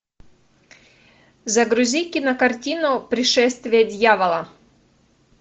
загрузи кинокартину пришествие дьявола